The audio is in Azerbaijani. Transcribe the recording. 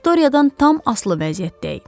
Viktoriyadan tam asılı vəziyyətdəyik.